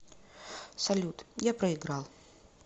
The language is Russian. салют я проиграл